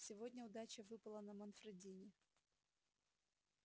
сегодня удача выпала на манфредини